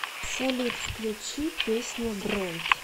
салют включи песня бренд